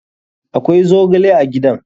Akwai zogle a gidan?